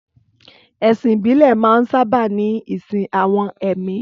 Ẹ̀sìn ìbílẹ̀ máa ń sábà ní ìsìn àwọn ẹ̀mí